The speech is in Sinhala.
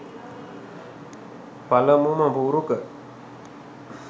පළමුම පුරුක.